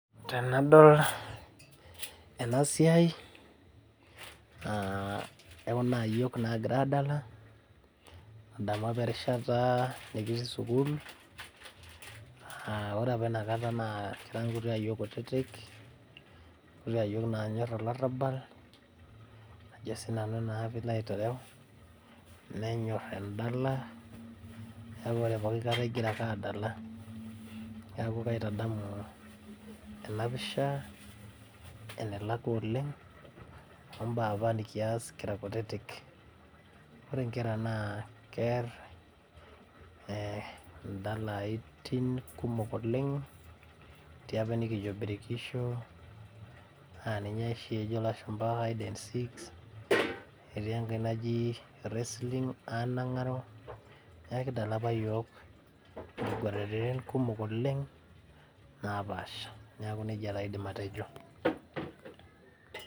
Tenadol ena siai ekuna ayiok nagira adala nadamu apa erishata nikitii sukuul aore apa inakata naa kira inkuti ayiok kutitik inkuti ayiok naa nanyorr olarrabal ajo sinanu naa piilo aiterew nenyorr endala niaku ore pokikata igira ake adala niaku kaitadamu ena pisha enelakua oleng ombaa apa nikias kira kutitik ore inkera naa kerr indalaitin kumok oleng etii apa enikijio birkisho aninye oshi ejo ilashumpa hide and seek netii enkae naji wrestling anang'aro niaku kidala apa iyiok inkuguraritin kumok oleng napaasha niaku nejia taa aidim atejo.